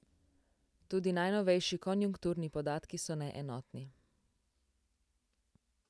Tudi najnovejši konjunkturni podatki so neenotni.